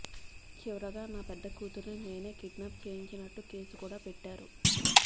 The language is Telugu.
చివరగా నా పెద్ద కూతుర్ని నేనే కిడ్నాప్ చేయించినట్టు కేసు కూడా పెట్టారు